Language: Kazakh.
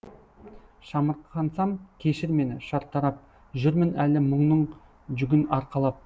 шамырқансам кешір мені шартарап жүрмін әлі мұңның жүгін арқалап